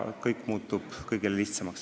Kõik muutub kõigile lihtsamaks.